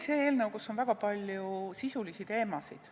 See on eelnõu, kus on väga palju sisulisi teemasid.